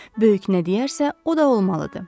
Böyük nə deyərsə, o da olmalıdır.